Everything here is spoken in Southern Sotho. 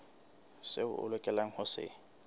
seo a lokelang ho se